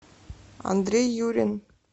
андрей юрин